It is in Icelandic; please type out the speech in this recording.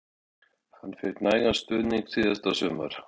Fékk hann nægan stuðning síðasta sumar?